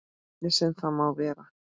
Hvernig sem það má vera.